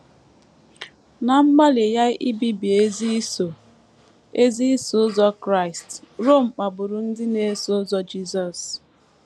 Ná mgbalị ya ibibi ezi Iso ezi Iso Ụzọ Kraịst, Rom kpagburu ndị na - eso ụzọ Jisọs.